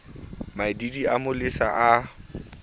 maidiidi a mo lesa a